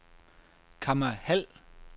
Kamma Hald